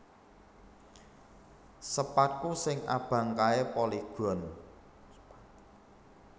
Sepadku sing abang kae Polygon